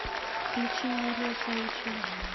включи юлия савичева